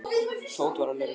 Tóti var alveg ruglaður.